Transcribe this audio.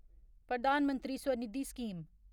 Pradhan Mantri Svanidhi scheme